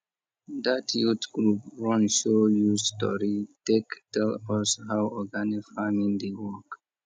that youth group run show use tori take tell us how organic farming dey work